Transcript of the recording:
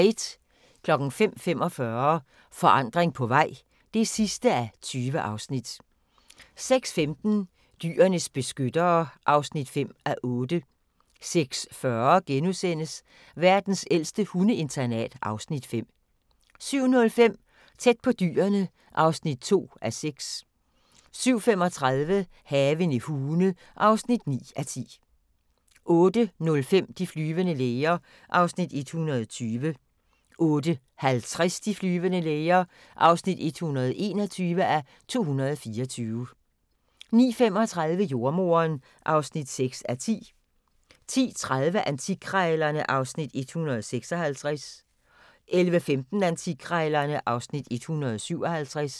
05:45: Forandring på vej (20:20) 06:15: Dyrenes beskyttere (5:8) 06:40: Verdens ældste hundeinternat (Afs. 5)* 07:05: Tæt på Dyrene (2:6) 07:35: Haven i Hune (9:10) 08:05: De flyvende læger (120:224) 08:50: De flyvende læger (121:224) 09:35: Jordemoderen (6:10) 10:30: Antikkrejlerne (Afs. 156) 11:15: Antikkrejlerne (Afs. 157)